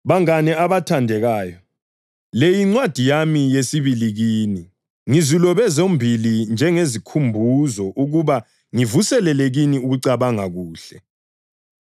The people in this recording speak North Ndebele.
Bangane abathandekayo, le yincwadi yami yesibili kini. Ngizilobe zombili njengezikhumbuzo ukuba ngivuselele kini ukucabanga kuhle.